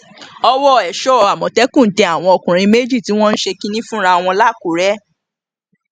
ọwọ èso àmọtẹkùn tẹ àwọn ọkùnrin méjì tí wọn ń ṣe kínní fúnra wọn làkúrè